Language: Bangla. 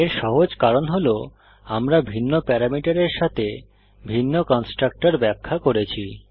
এর সহজ কারণ হল আমরা ভিন্ন প্যারামিটারের সাথে ভিন্ন কন্সট্রাকটর ব্যাখ্যা করেছি